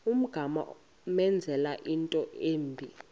ungamenzela into embi